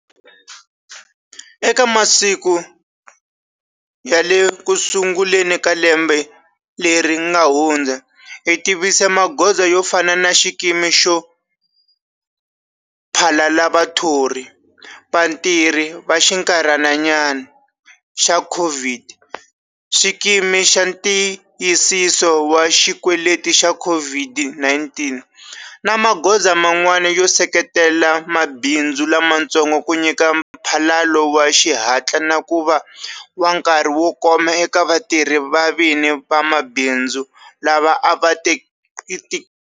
Eka masiku ya le kusunguleni lembe leri nga hundza, hi tivise magoza yo fana na Xikimi xo Phalala Vathori - Vatirhi va xinkarhinyana xa COVID, Xikimi xa Ntiyisiso wa Xikweleti xa COVID-19 na magoza man'wana yo seketela mabindzu lamatsongo ku nyika mphalalo wa xihatla na ku va wa nkarhi wo koma eka vatirhi va vini va mabindzu lava a va tikeriwa.